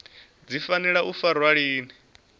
dzi fanela u farwa lini